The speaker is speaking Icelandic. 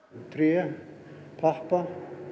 tré pappa